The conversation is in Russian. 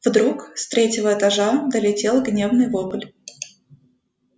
вдруг с третьего этажа долетел гневный вопль